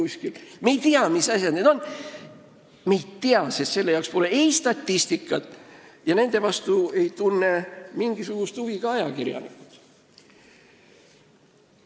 Me ei tea, mis asjad need on, sest nende kohta pole statistikat ja nende vastu ei tunne mingisugust huvi ka ajakirjanikud.